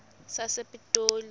sasepitoli